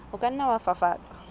o ka nna wa fafatsa